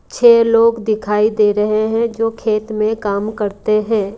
छह लोग दिखाई दे रहे हैं जो खेत में काम करते हैं।